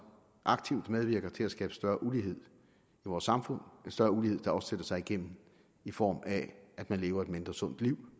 aktivt medvirker til at skabe større ulighed i vores samfund en større ulighed der også sig igennem i form af at man lever et mindre sundt liv